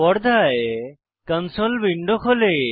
পর্দায় console window খোলে